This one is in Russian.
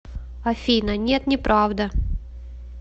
афина нет неправда